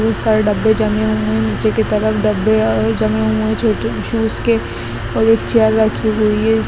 बहुत सारे डब्बे जमे हुए है नीचे की तरफ डब्बे अ-जमे हुए है छोटे शूज के और एक चेयर रखी हुई है।